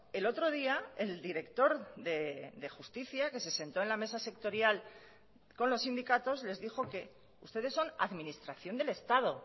el otro día el director de justicia que se sentó en la mesa sectorial con los sindicatos les dijo que ustedes son administración del estado